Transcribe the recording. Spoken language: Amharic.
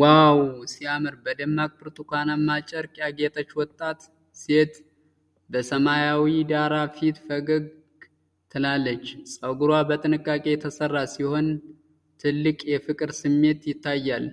ዋው ሲያምር! በደማቅ ብርቱካንማ ጨርቅ ያጌጠች ወጣት ሴት በሰማያዊ ዳራ ፊት ፈገግ ትላለች። ፀጉሯ በጥንቃቄ የተሰራ ሲሆን ትልቅ የፍቅር ስሜት ይታያል።